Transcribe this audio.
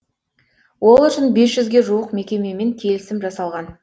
ол үшін бес жүзге жуық мекемемен келісім жасалған